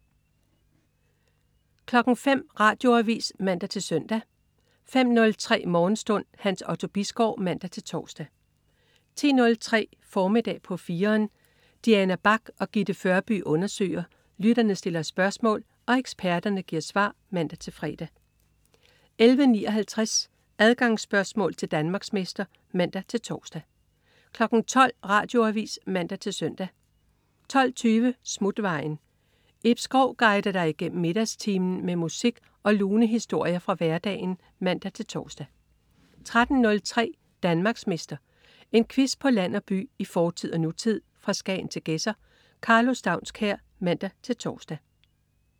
05.00 Radioavis (man-søn) 05.03 Morgenstund. Hans Otto Bisgaard (man-tors) 10.03 Formiddag på 4'eren. Diana Bach og Gitte Førby undersøger, lytterne stiller spørgsmål og eksperterne giver svar (man-fre) 11.59 Adgangsspørgsmål til Danmarksmester (man-tors) 12.00 Radioavis (man-søn) 12.20 Smutvejen. Ib Schou guider dig igennem middagstimen med musik og lune historier fra hverdagen (man-tors) 13.03 Danmarksmester. En quiz på land og by, i fortid og nutid, fra Skagen til Gedser. Karlo Staunskær (man-tors)